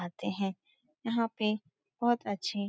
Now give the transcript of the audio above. आते हैं। यहाँ पे बहुत अच्छी --